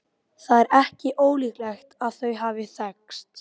Baróninn fylgdist ekki með þessum umræðum.